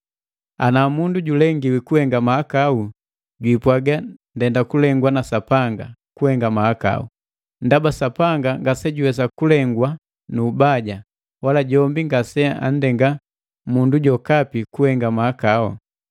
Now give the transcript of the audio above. Ana mundu julengiwi kuhenga mahakau, jwiipwaga: “Ndenda kulegwa na Sapanga kuhenga mahakau.” Ndaba Sapanga ngasejuwesa kulegwa nu ubaja, wala jombi ngaseanndenga mundu jokapi kuhenga mahakau.